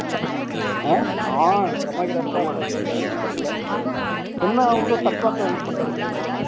ஆஹ் கமாய்க்கறார் கமாய்க்கறார் சொந்த இது பண்றதுல என்ன அவங்களதா தப்பா கல்யாணம் பண்ணிட்டார் தெரியுமா